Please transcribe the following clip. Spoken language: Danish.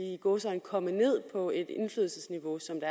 i gåseøjne komme ned på et indflydelsesniveau som det